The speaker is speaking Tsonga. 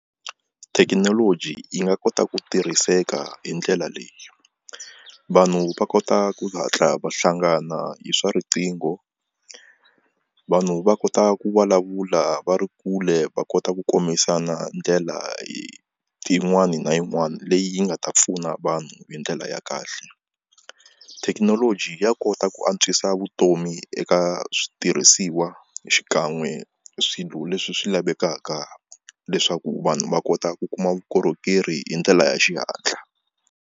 Thekinoloji yi nga kota ku tirhiseka hi ndlela leyi vanhu va kota ku hatla va hlangana hi swa riqingho vanhu va kota ku vulavula va ri kule va kota ku kombisana ndlela tin'wani na yin'wani leyi yi nga ta pfuna vanhu hi ndlela ya kahle thekinoloji ya kota ku antswisa vutomi eka switirhisiwa xikan'we swilo leswi swi lavekaka leswaku vanhu va kota ku kuma vukorhokeri hi ndlela ya xihatla.